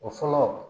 O fɔlɔ